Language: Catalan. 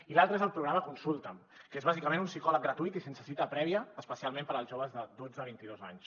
i l’altre és el programa consulta’m que és bàsicament un psicòleg gratuït i sense cita prèvia especialment per als joves de dotze a vint i dos anys